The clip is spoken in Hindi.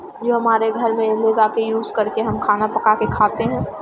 जो हमारे घर में ले जा के यूज करके हम खाना पका के खाते हैं ।